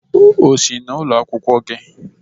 O si n'ụlọ akwụkwọ gị?